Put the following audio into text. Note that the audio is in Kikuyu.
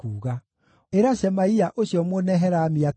Ĩra Shemaia ũcio Mũnehelami atĩrĩ,